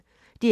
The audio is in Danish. DR P1